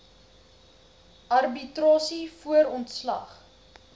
arbitrasie voor ontslag